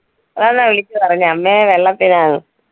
അതാണോ വിളിച്ചു പറഞ്ഞെ, അമ്മെ വെള്ളത്തിനാന്ന്.